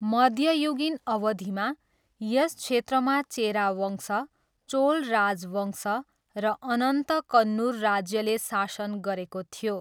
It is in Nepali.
मध्ययुगीन अवधिमा, यस क्षेत्रमा चेरा वंश, चोल राजवंश र अन्ततः कन्नुर राज्यले शासन गरेको थियो।